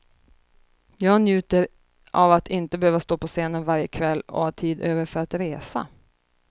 Jag njuter av att inte behöva stå på scenen varje kväll och ha tid över för att resa.